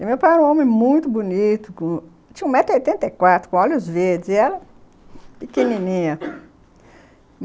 E meu pai era um homem muito bonito, tinha um metro e oitenta e quatro, com olhos verdes, e ela pequenininha.